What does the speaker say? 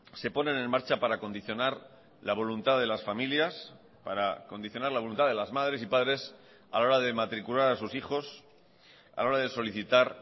se ponen en marcha para condicionar la voluntad de las familias para condicionar la voluntad de las madres y padres a la hora de matricular a sus hijos a la hora de solicitar